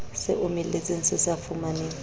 se omeletseng se sa fumaneng